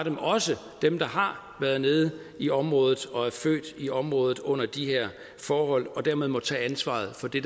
dem der har været nede i området og er født i området under de her forhold og dermed må tage ansvaret for det